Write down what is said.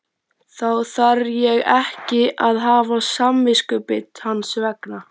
Þá þarf ég ekki að hafa samviskubit hans vegna?